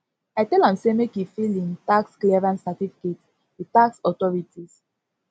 i tell am sey make e file im tax clearance certificate with tax authorities